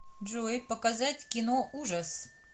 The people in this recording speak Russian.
джой показать киноужас